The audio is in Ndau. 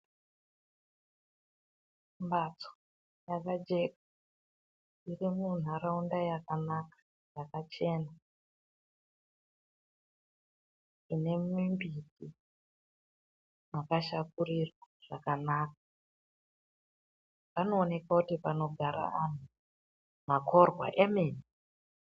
Mhatso dzakajeka dziri munharaunda yakanaka, yakachena ine mimbiti yakashakurirwa zvakanaka. Panoonekwa kuti panogara vanhu. Makorwa emene.